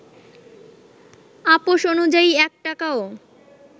আপস অনুযায়ী ১ টাকাও